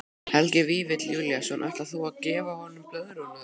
Helgi Vífill Júlíusson: Ætlar þú að gefa honum blöðruna þína?